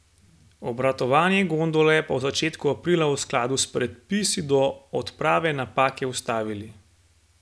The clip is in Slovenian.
Obratovanje gondole pa v začetku aprila v skladu s predpisi do odprave napake ustavili.